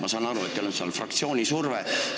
Ma saan aru, et teil on selleks fraktsiooni surve.